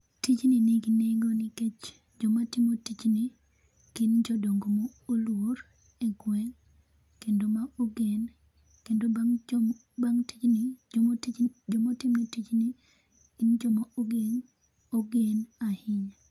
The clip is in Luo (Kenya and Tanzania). Tijni nigi nengo nikech joma timo tijni gin jodongo mo oluor e gweng' kendo ma ogen kendo bang jo, bang tijni joma tijn, joma timo tijni gin joma ogen, ogen ahinya